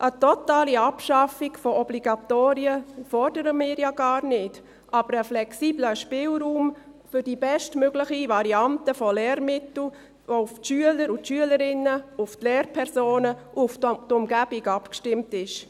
Eine totale Abschaffung von Obligatorien fordern wir ja gar nicht, aber einen flexiblen Spielraum für die bestmögliche Variante von Lehrmitteln, die auf die Schüler und Schülerinnen, auf die Lehrpersonen und auf die Umgebung abgestimmt ist.